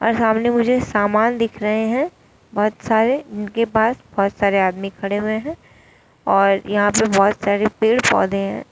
और सामने मुझे सामान दिख रहे हैं बहुत सारे और उनके पास बहुत सारे आदमी खड़े हुए हैं और यहां पर बहुत सारे पेड़ पौधे है।